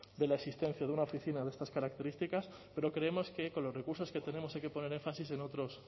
de la existencia de una oficina de estas características pero creemos que con los recursos que tenemos hay que poner énfasis en otros